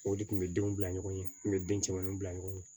O de kun bɛ denw bila ɲɔgɔn ye n kun bɛ den caman bila ɲɔgɔn ye